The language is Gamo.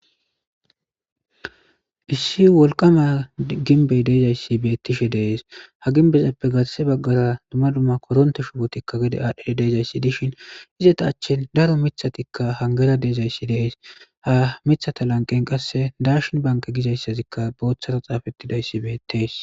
issi wolqama ginbey deezayssi beettishe deees ha ginbezappe garase baggara dumma dumma koronte shubotikka gede aadhe deezayssi dishin izata achchin daro mithatikka hangera deezayssi deees ha mithata lanqen qasse darshin banke gizayssazikka booththara xaafettidayssi beettees